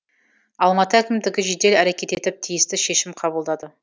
алматы әкімдігі жедел әрекет етіп тиісті шешім қабылдады